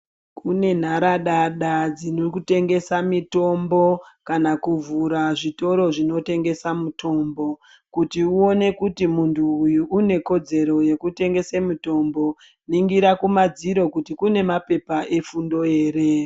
Kunenharadada dzinokutengesa mitombo kana kuvhura zvitoro zvinotengesa mutombo , kuti uwone kuti muntu uyu unekodzero yekutengese mitombo. Ningira kumadziro kuti kunemapepa efundo here.